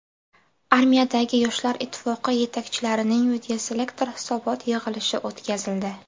Armiyadagi Yoshlar ittifoqi yetakchilarining videoselektor hisobot yig‘ilishi o‘tkazildi.